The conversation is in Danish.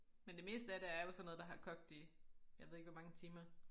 Men det meste af det er jo sådan noget der har kogt i jeg ved ikke hvor mange timer